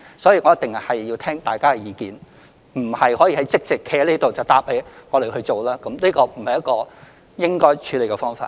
我一定要聽大家的意見，而並非即席在這裏答覆議員我們會去做，這不是應該採取的處理方法。